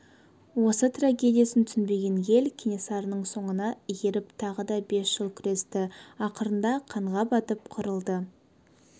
осы трагедиясын түсінбеген ел кенесарының соңына еріп тағы да бес жыл күресті ақырында қанға батып қырылды